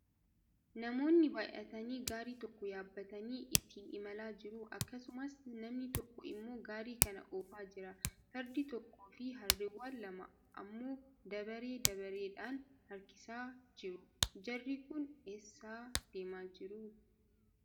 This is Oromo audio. Namoonni baay'atanii gaarii tokko yaabbatanii ittiin imalaa jiru. Akkasumas, namni tokko immoo gaarii kana oofaa jira. Fardi tokkoo fi harreewwan lama ammoo dabaree dabareedhaan harkisaa jiru. Jarri kun eessa deemaa jiru?